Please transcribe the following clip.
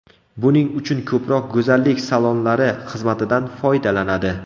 Buning uchun ko‘proq go‘zallik salonlari xizmatidan foydalanadi.